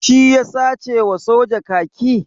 Shi ya sace wa soja kaki?